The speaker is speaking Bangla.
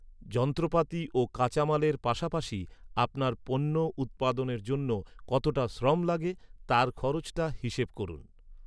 যন্ত্রপাতি ও কাঁচামালের পাশাপাশি আপনার পণ্য উৎপাদনের জন্য কতটা শ্রম লাগে, তার খরচটা হিসেব করুন।